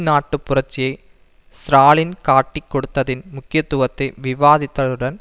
நாட்டுப் புரட்சியை ஸ்ராலின் காட்டிக் கொடுத்ததின் முக்கியத்துவத்தை விவாதித்துடன்